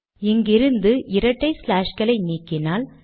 இங்கிருந்து இரட்டை ஸ்லாஷ்களை நீக்கினால்